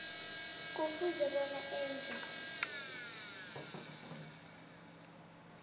kufuze bona enze